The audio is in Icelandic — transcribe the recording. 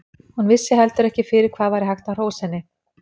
Hún vissi heldur ekki fyrir hvað væri hægt að hrósa henni.